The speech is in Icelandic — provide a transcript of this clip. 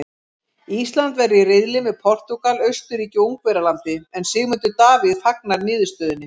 Ísland verður í riðli með Portúgal, Austurríki og Ungverjalandi en Sigmundur Davíð fagnar niðurstöðunni.